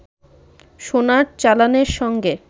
সোনার চালানের সঙ্গে